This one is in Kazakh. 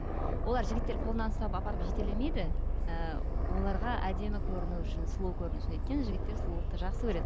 олар жігіттер қолынан ұстап апарып жетелемейді і оларға әдемі көріну үшін сұлу көріну үшін өйткені жігіттер сұлулықты жақсы көреді